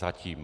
Zatím.